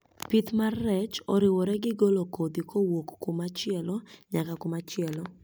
Pith mar rech oriwore gi golo kodhi kowuok kumachielo nyaka kumachielo